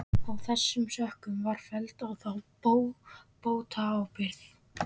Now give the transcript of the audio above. Af þessum sökum var felld á þá bótaábyrgð.